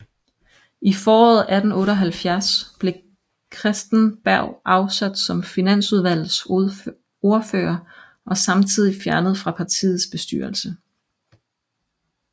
I foråret 1878 blev Christen Berg afsat som finansudvalgets ordfører og samtidigt fjernet fra partiets bestyrelse